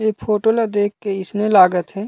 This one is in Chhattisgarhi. ए फोटो ल देख के अइसने लागत हे।